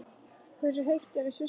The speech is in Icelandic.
Hversu heitt er í Sviss núna?